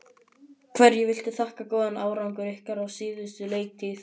Hverju viltu þakka góðan árangur ykkar á síðustu leiktíð?